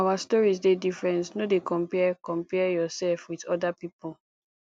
our stories dey different no dey compare compare yoursef wit oda pipo